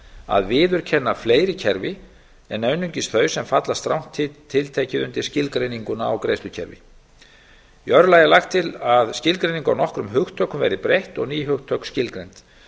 að viðurkenna fleiri kerfi en einungis þau sem falla strangt tiltekið undir skilgreininguna á greiðslukerfi í öðru lagi er lagt til að skilgreining á nokkrum hugtökum verði breytt og ný hugtök skilgreind